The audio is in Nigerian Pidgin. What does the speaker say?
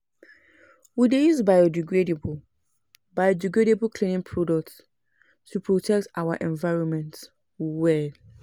We dey use biodegradable biodegradable cleaning products to protect our environment well.